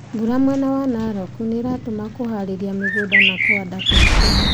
Mbura mwena wa Narok nĩratũma kũharĩria mĩgunda na kũhanda kũritũhe